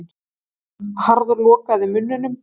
Hún harðlokaði munninum.